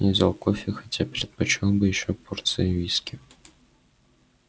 я взял кофе хотя предпочёл бы ещё порцию виски